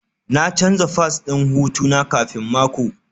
Na canza fass ɗin hutu na kafin mako